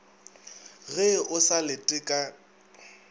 ge o sa lete ka